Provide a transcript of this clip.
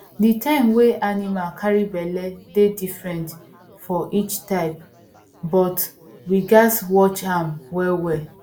the time wey animal carry belle dey different for each type but we gatz watch am well well